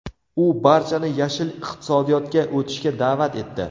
U barchani yashil iqtisodiyotga o‘tishga da’vat etdi.